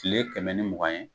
kile kɛmɛ ni mugan ye